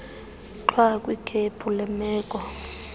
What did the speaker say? gxwa kwikhephu leemeko